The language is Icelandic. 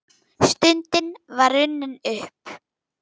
Stundin var runnin upp!